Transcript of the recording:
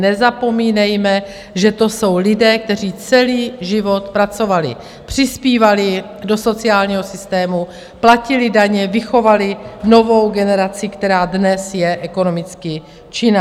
Nezapomínejme, že to jsou lidé, kteří celý život pracovali, přispívali do sociálního systému, platili daně, vychovali novou generaci, která dnes je ekonomicky činná.